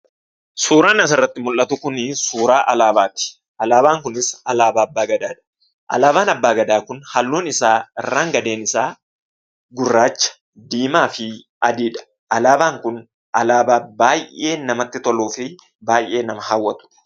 Suuraan asirratti mul'atu kunii suuraa alaabaati. Alaabaan kunis alaabaa Abbaa Gadaadha. Alaabaan Abbaa Gadaa kun halluun isaa irraan gadeen isaa gurraacha, diimaa fi adiidha. Alaabaan kun alaabaa baay'ee namatti toluu fi baay'ee nama hawwatudha.